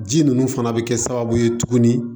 Ji ninnu fana bɛ kɛ sababu ye tuguni